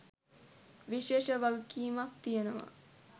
විශේෂ වගකීමක් තියෙනවා